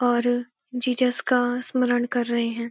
और जीसस का स्मरण कर रहे हैं।